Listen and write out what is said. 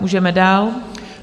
Můžeme dál.